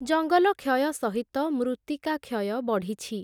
ଜଙ୍ଗଲ କ୍ଷୟ ସହିତ, ମୃତ୍ତିକା କ୍ଷୟ ବଢ଼ିଛି ।